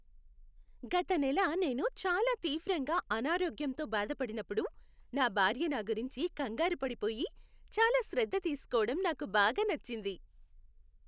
గత నెల నేను చాలా తీవ్రంగా అనారోగ్యంతో బాధపడిప్పుడు నా భార్య నాగురించి కంగారూపడిపోయి, చాలా శ్రద్ధ తీసుకోవడం నాకు బాగా నచ్చింది.